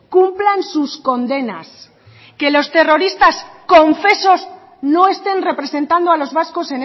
cumplan sus condenas que los terroristas confesos no estén representando a los vascos